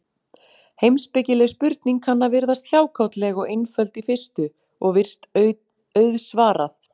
Heimspekileg spurning kann að virðast hjákátleg og einföld í fyrstu, og virst auðsvarað.